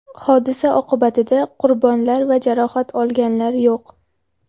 Hodisa oqibatida qurbonlar va jarohat olganlar yo‘q.